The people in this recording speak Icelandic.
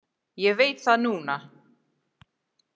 Ég veit það núna.